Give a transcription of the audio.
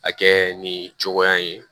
A kɛ nin cogoya in ye